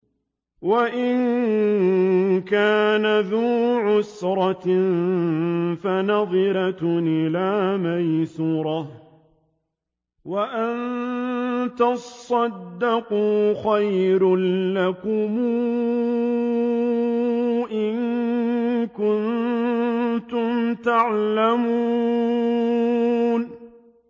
وَإِن كَانَ ذُو عُسْرَةٍ فَنَظِرَةٌ إِلَىٰ مَيْسَرَةٍ ۚ وَأَن تَصَدَّقُوا خَيْرٌ لَّكُمْ ۖ إِن كُنتُمْ تَعْلَمُونَ